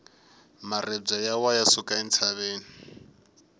maribye ya wa ya suka entshaveni